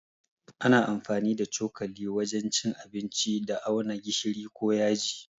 Ana amfani da cokali wajen cin abinci da auna gishiri ko yaji.